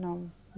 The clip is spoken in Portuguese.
Não.